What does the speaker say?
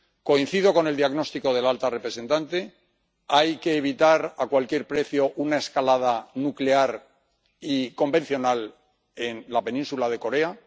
Coincido con el diagnóstico de la alta representante hay que evitar a cualquier precio una escalada nuclear y convencional en la península de Corea.